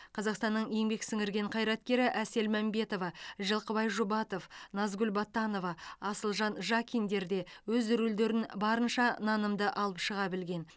қазақстанның еңбек сіңірген қайраткері әсел мәмбетова жылқыбай жұбатов назгүл батанова асылжан жакиндер де өз рөлдерін барынша нанымды алып шыға білген